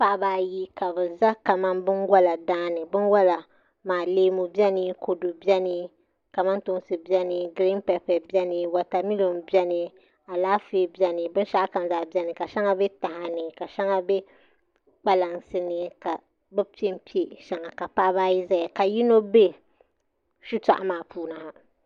Paɣaba ayi ka bi ʒɛ kamani binwola daani binwola maa leemu biɛni kamantoosi biɛni kodu biɛni giriin pɛpɛ biɛni wotamilo biɛni alaafee biɛni binshaɣu kam zaa biɛni ka shɛŋa bɛ taha ni ka shɛŋa bɛ kpalansi ni ka bi piɛ piɛ shɛŋa ka paɣaba ayi ʒɛya ka yino bɛ shitoɣu maa puuni ha